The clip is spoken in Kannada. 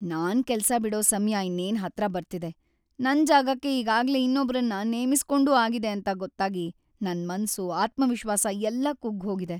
ನಾನ್ ಕೆಲ್ಸ ಬಿಡೋ ಸಮಯ ಇನ್ನೇನ್ ಹತ್ರ ಬರ್ತಿದೆ.. ನನ್ ಜಾಗಕ್ಕೆ ಈಗಾಗ್ಲೇ ಇನ್ನೊಬ್ರನ್ನ ನೇಮಿಸ್ಕೊಂಡೂ ಆಗಿದೆ ಅಂತ ಗೊತ್ತಾಗಿ ನನ್‌ ಮನ್ಸು, ಆತ್ಮವಿಶ್ವಾಸ ಎಲ್ಲ ಕುಗ್ಗ್‌ಹೋಗಿದೆ.